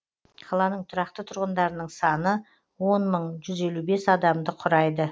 қаланың тұрақты тұрғындарының саны он мың жүз елу бес адамды құрайды